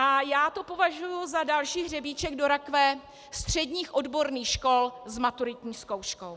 A já to považuji za další hřebíček do rakve středních odborných škol s maturitní zkouškou.